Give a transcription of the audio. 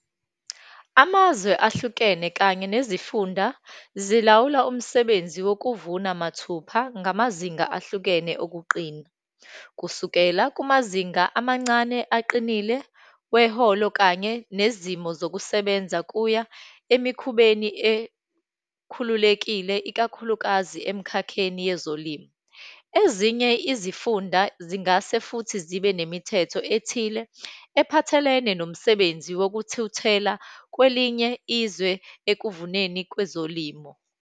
Amazwe ahlukene kanye nezifunda zilawula umsebenzi wokuvuna mathupha ngamazinga ahlukene okuqina, kusukela kumazinga amancane aqinile weholo, kanye nezimo zokusebenza kuya emikhubeni ekhululekile, ikakhulukazi emkhakheni yezolimo. Ezinye zifunda zingase futhi zibe nemithetho ethile ephathelene nomsebenzi wokuthuthela kwelinye izwe ekuvuneni kwezolimo.